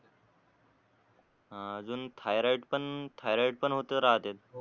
हा अजून थायरॉईड पण थायरॉईड पण होत राहते